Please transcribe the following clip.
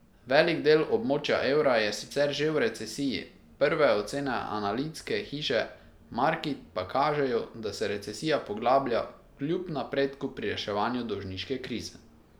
Velik del območja evra je sicer že v recesiji, prve ocene analitske hiše Markit pa kažejo, da se recesija poglablja kljub napredku pri reševanju dolžniške krize.